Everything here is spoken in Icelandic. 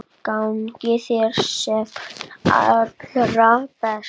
Gangi þér sem allra best.